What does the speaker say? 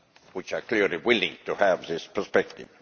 which are clearly willing to have this perspective.